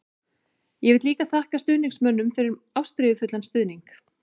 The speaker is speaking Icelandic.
Ég vil líka þakka stuðningsmönnum fyrir ástríðufullan stuðning.